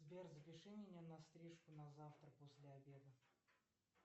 сбер запиши меня на стрижку на завтра после обеда